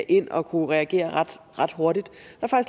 ind og kunne reagere ret hurtigt